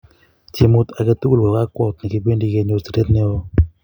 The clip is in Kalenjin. Tiemut age tugul ko kakwout ne kipendi kenyor siret ne o